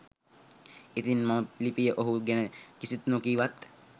ඉතිං මම ලිපියේ ඔහු ගැන කිසිත් නොකීවත්